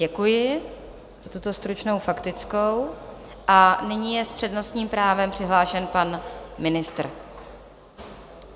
Děkuji za tuto stručnou faktickou a nyní je s přednostním právem přihlášen pan ministr.